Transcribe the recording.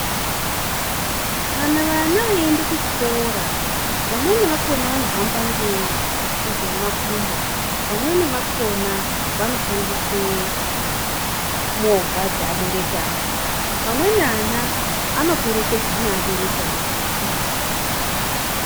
Kana vana veienda kuchikora, vamweni vakona vanohamba ngemakumbo. Vamweni vakona vanoshandise movha dzeabereki awo. Amweni ana anoperekedza neabereki awo kuzvikora kwakona.